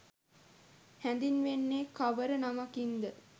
හැඳින්වෙන්නේ කවර නමකින් ද?